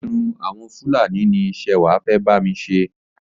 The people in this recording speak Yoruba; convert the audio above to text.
Irun àwọn Fúlàní ni Ṣẹwà fẹ́ bami ṣe.